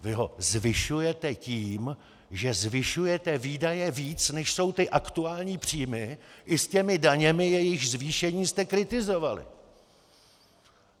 Vy ho zvyšujete tím, že zvyšujete výdaje víc, než jsou ty aktuální příjmy i s těmi daněmi, jejichž zvýšení jste kritizovali.